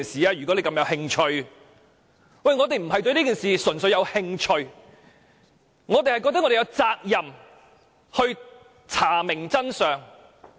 可是，我們並不是純粹對這件事感興趣，而是認為我們有責任查明真相。